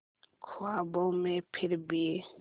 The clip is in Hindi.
ख्वाबों में फिर भी